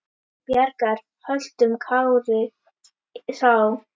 Bjargar höltum karli sá.